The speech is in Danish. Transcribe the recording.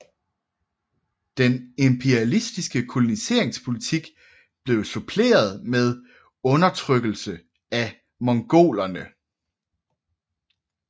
Den imperialistiske koloniseringspolitik blev suppleret med undertrykkelse af mongolerne